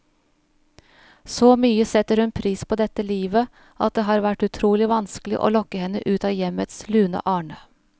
Så mye setter hun pris på dette livet, at det har vært utrolig vanskelig å lokke henne ut av hjemmets lune arne.